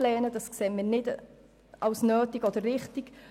Diese erachten wir nicht als nötig beziehungsweise nicht als richtig.